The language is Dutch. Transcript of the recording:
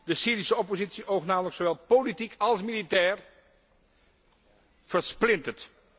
De Syrische oppositie oogt namelijk zowel politiek als militair versplinterd.